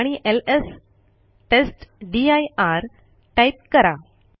आणि एलएस टेस्टदीर टाईप करा